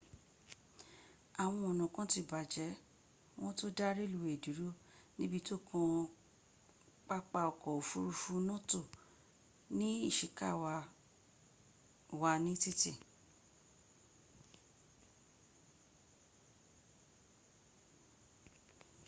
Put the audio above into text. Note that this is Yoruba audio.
àwọn ọ̀nà kán ti bàjẹ́ wón to dá reluwé dúró níbi tó kàn papa ọkọ̀ ofurufu noto ní iṣikawa wà ní títì